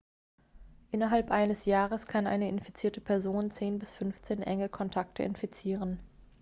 innerhalb eines jahres kann eine infizierte person 10 bis 15 enge kontakte infizieren